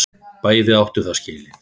Bæði lið áttu það skilið.